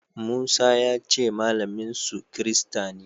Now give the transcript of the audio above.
Musa ya ce malaminsu kirista ne.